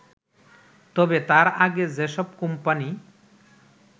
তবে তার আগে যেসব কোম্পানি